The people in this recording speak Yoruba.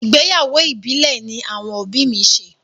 Ìgbéyàwó ìbílẹ̀ ní àwọn òbí mi ṣe.